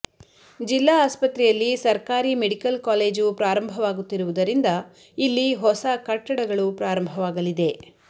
ಜಿಲ್ಲಾ ಆಸ್ಪತ್ರೆಯಲ್ಲಿ ಸರ್ಕಾರಿ ಮೆಡಿಕಲ್ ಕಾಲೇಜು ಪ್ರಾರಂಭವಾಗುತ್ತಿರುವುದರಿಂದ ಇಲ್ಲಿ ಹೊಸ ಕಟ್ಟಡಗಳು ಪ್ರಾರಂಭವಾಗಲಿದೆ